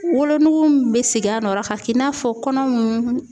Wolonugu min bɛ segin a nɔ na ka k'i n'a fɔ kɔnɔ mun